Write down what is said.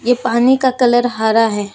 ये पानी का कलर हरा है।